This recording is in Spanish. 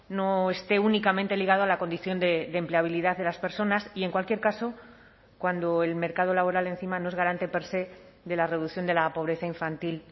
no esté únicamente ligado a la condición de empleabilidad de las personas y en cualquier caso cuando el mercado laboral encima no es garante per sé de la reducción de la pobreza infantil